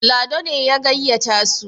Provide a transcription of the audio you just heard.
Lado ne ya gayyata su